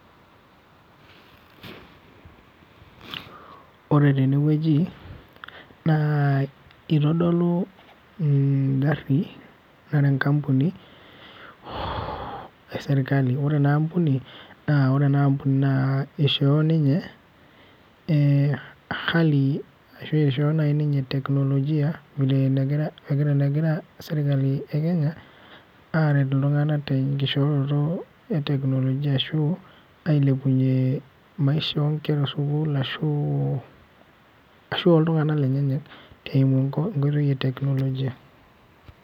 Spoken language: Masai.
Ore tenewueji, naa itodolu igaari nara enkampuni esirkali. Ore enaampuni, naa ore enaampuni naa ishoo ninye hali ashu ishoo nai ninye teknolojia, enegira sirkali e Kenya, aret iltung'anak tenkishooroto e teknolojia ashu, ailepunye maisha onkera esukuul ashu, ashu oltung'anak lenyenyek eimu enkoitoi e teknolojia.